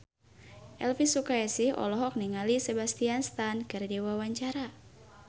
Elvi Sukaesih olohok ningali Sebastian Stan keur diwawancara